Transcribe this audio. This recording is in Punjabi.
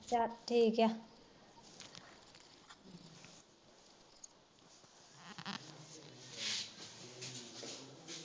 ਚੱਲ ਠੀਕੇ